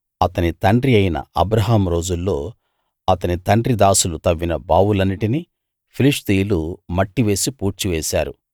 అతని తండ్రి అయిన అబ్రాహాము రోజుల్లో అతని తండ్రి దాసులు తవ్విన బావులన్నిటినీ ఫిలిష్తీయులు మట్టి వేసి పూడ్చివేశారు